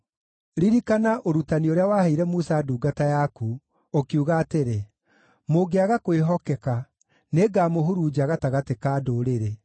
“Ririkana ũrutani ũrĩa waheire Musa ndungata yaku, ũkiuga atĩrĩ, ‘Mũngĩaga kwĩhokeka, nĩngamũhurunja gatagatĩ ka ndũrĩrĩ,